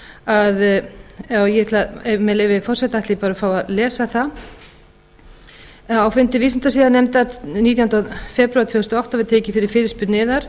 að já með leyfi forseta ætla ég bara að fá að lesa það á fundi vísindasiðanefndar nítjánda febrúar tvö þúsund og átta var tekin fyrir fyrirspurn yðar